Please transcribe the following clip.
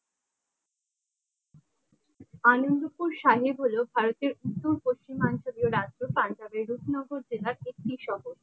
আনন্দপুর সাহেব হল ভারতের উত্তর পশ্চিমাঞ্চলীয় রাজ্যের পাঞ্জাবের জ্যোতি নগর জেলার একটি শহর।